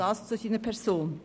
Soweit zu seiner Person.